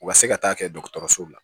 U ka se ka taa kɛ dɔgɔtɔrɔso la